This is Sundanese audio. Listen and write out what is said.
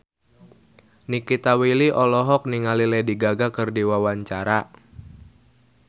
Nikita Willy olohok ningali Lady Gaga keur diwawancara